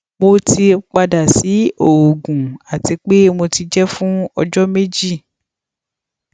mo ti pada si oògùn ati pe mo ti jẹ fun ọjọ meji